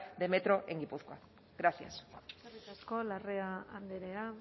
de metro en guipúzcoa gracias eskerrik asko larrea andrea